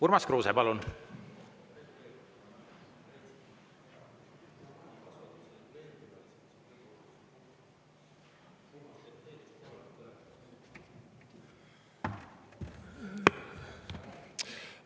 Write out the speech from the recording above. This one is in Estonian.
Urmas Kruuse, palun!